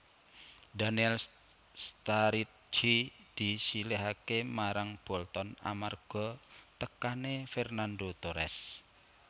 Daniel Sturridge disilihaké marang Bolton amarga tekané Fernando Torres